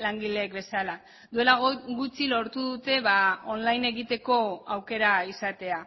langilek bezala duela gutxi lortu dute on line egiteko aukera izatea